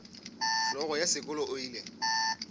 hlogo ya sekolo o ile